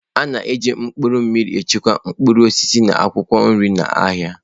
A na-eji mkpụrụ mmiri echekwa mkpụrụ osisi na akwụkwọ nri n'ahịa.